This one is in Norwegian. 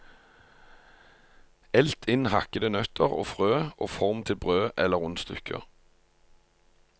Elt inn hakkede nøtter og frø og form til brød eller rundstykker.